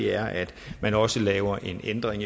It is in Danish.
er at man også laver en ændring